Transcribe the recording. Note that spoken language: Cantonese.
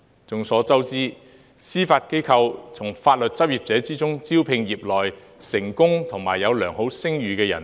眾所周知，司法機構會從法律執業者中，招聘業內成功及有良好聲譽的人士。